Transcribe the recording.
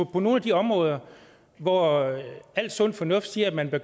på nogle af de områder hvor al sund fornuft siger at man bør